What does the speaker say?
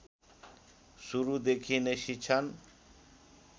सुरुदेखि नै शिक्षण